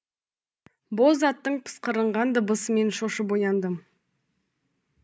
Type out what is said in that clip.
боз аттың пысқырынған дыбысымен шошып ояндым